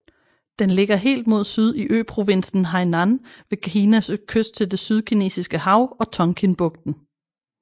Den ligger helt mod syd i øprovinsen Hainan ved Kinas kyst til det Sydkinesiske Hav og Tonkinbugten